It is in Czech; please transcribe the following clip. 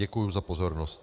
Děkuji za pozornost.